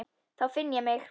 Þá finn ég mig.